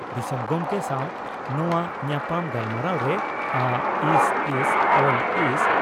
ᱫᱤᱥᱚᱢ ᱜᱚᱢᱠᱮ ᱥᱟᱣ ᱱᱚᱣᱟ ᱧᱟᱯᱟᱢ ᱜᱟᱞᱢᱟᱨᱟᱣᱨᱮ ᱟᱹᱥᱹᱥᱹᱞᱹᱥᱹ